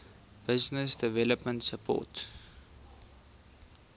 business development support